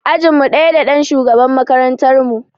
Ajinmu ɗaya da ɗan shugaban makarantar mu.